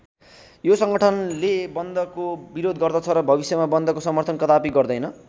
यो सङ्गठनले बन्दको विरोध गर्दछ र भविष्यमा बन्दको समर्थन कदापि गर्देन।